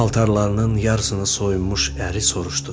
Paltarlarının yarısını soyunmuş əri soruşdu: